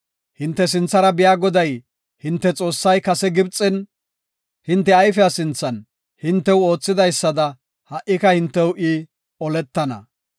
Hinte sinthara biya Goday hinte Xoossay kase Gibxen hinte ayfiya sinthan hintew oothidaysada ha77ika hintew I oletana.